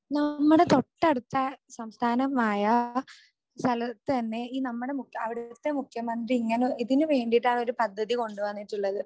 നമ്മുടെ തൊട്ടടുത്ത സംസ്ഥാനമായ സ്ഥലത്തുതന്നെ ഈ നമ്മുടെ , അവിടുത്തെ മുഖ്യമന്ത്രി ഇങ്ങനെ ഇതിനു വേണ്ടീട്ടാണ് ഒരു പദ്ധതി കൊണ്ടുവന്നിട്ടുള്ളത്